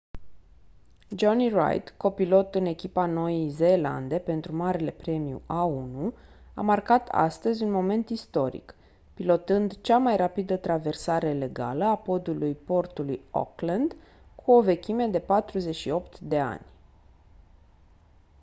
jonny reid copilot în echipa noii zeelande pentru marele premiu a1 a marcat astăzi un moment istoric pilotând cea mai rapidă traversare legală a podului portului auckland cu o vechime de 48 de ani